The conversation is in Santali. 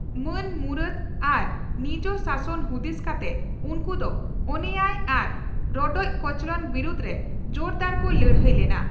ᱢᱟᱹᱱ ᱢᱩᱨᱟᱹᱫᱽ ᱟᱨ ᱱᱤᱡᱽ ᱥᱟᱥᱚᱱ ᱦᱩᱫᱤᱥ ᱠᱟᱛᱮ ᱩᱱᱠᱩ ᱫᱚ ᱚᱱᱮᱭᱟᱭ ᱟᱨ ᱨᱚᱰᱚᱡ ᱠᱚᱪᱞᱚᱸᱰ ᱵᱤᱨᱩᱫᱽᱨᱮ ᱡᱳᱨᱫᱟᱨ ᱠᱚ ᱞᱟᱹᱲᱦᱟᱹᱭ ᱞᱮᱱᱟ ᱾